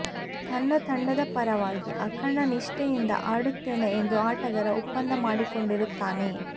ತನ್ನ ತಂಡದ ಪರವಾಗಿ ಅಖಂಡ ನಿಷ್ಠೆಯಿಂದ ಆಡುತ್ತೇನೆ ಎಂದು ಆಟಗಾರ ಒಪ್ಪಂದ ಮಾಡಿಕೊಂಡಿರುತ್ತಾನೆ